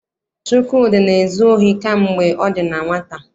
Chukwudi na-ezu ohi kamgbe ọ dị na nwata.